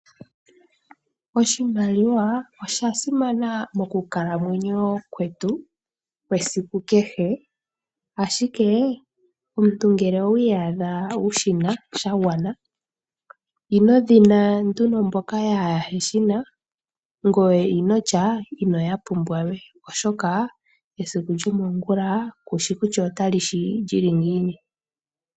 Oshimaliwa osha simana mokukalamwenyo kwetu kwesiku kehe, ashike omuntu ngele owi iyadha wu shina sha gwana, ino dhina nduno mboka yaaheshina ngoye inotya ino ya pumbwa we oshoka esiku lyomongula kushi kutya ota li shi lyili ngiini.